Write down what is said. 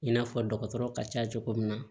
I n'a fɔ dɔgɔtɔrɔ ka ca cogo min na